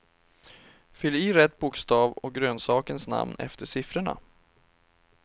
Fyll i rätt bokstav och grönsakens namn efter siffrorna.